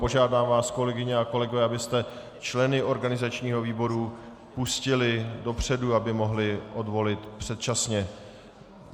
Požádám vás, kolegyně a kolegové, abyste členy organizačního výboru pustili dopředu, aby mohli odvolit předčasně.